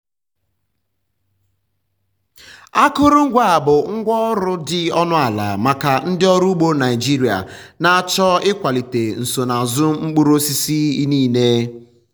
akụrụngwa a bụ ngwá ọrụ dị ọnụ ala maka ndị ọrụ ugbo naijiria na-achọ ịkwalite nsonaazụ mkpụrụ osisi inine.